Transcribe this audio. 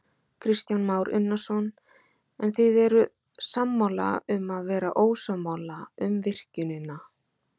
Kristján Már Unnarsson: En þið eruð sammála um að vera ósammála um virkjunina?